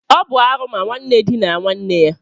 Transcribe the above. Ọ bụ arụ ma nwanne dinaa nwanne ya